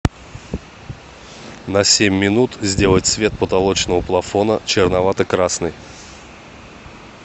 на семь минут сделать цвет потолочного плафона черновато красный